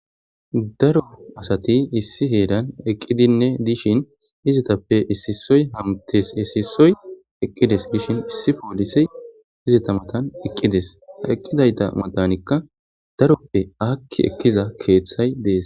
Daro asati issi heran eqidinne dishn izetape issi issoy hamutes issi issoy eqides Gishn issi polisey izeta matan eqides, eqidayta matanika daroppe aaki ekiza keethay Des.